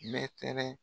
Mɛtɛrɛ